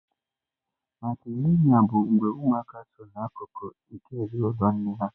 Matrịlịnịa bụ mgbe ụmụaka sọ na akụkụ nke ezinụlọ nne ha.